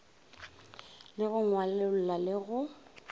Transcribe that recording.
le go ngwalolla le go